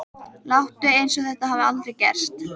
Láttu eins og þetta hafi aldrei gerst!